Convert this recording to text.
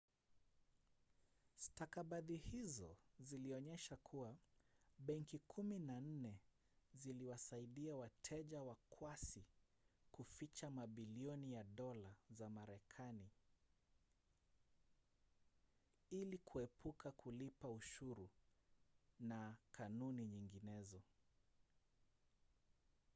stakabadhi hizo zilionyesha kuwa benki kumi na nne ziliwasaidia wateja wakwasi kuficha mabilioni ya dola za marekanai ili kuepuka kulipa ushuru na kanuni nyinginezo